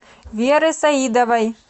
веры саидовой